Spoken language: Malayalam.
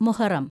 മുഹറം